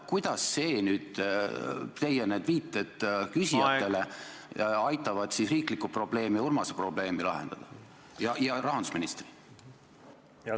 Kuidas nüüd need teie viited küsijatele aitavad lahendada riiklikku probleemi ning Urmase ja rahandusministri probleemi?